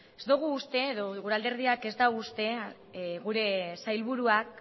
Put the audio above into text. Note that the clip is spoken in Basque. ez dogu uste edo gure alderdiak ez dau uste gure sailburuak